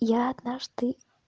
я однажды